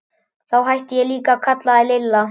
Þá hætti ég líka að kalla þig Lilla.